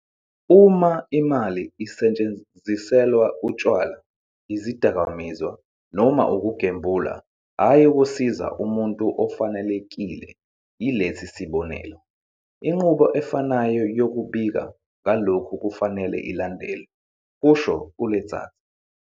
"Uma imali isetshenziselwa utshwala, izidakamizwa noma ukugembula, hhayi ukusiza umuntu ofanelekile yilesi sibonelelo, inqubo efanayo yokubika ngalokhu kufanele ilandelwe," kusho u-Letsatsi."